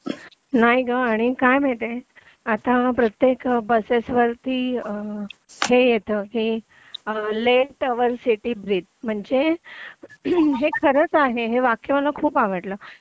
नाही ग आणि काय आहे माहितीये आता प्रत्येक बसेस वरती हे येत हे लेट आवर सिटी ब्रीद म्हणजे हे खरच आहे हे वाक्य मला खूप आवडलं